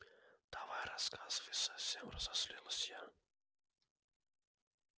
ну давай рассказывай совсем разозлилась я